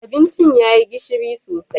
Abincin ya yi gishiri sosai